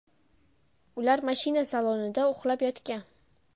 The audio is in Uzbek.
Ular mashina salonida uxlab yotgan.